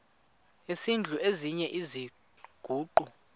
esidl eziny iziguqa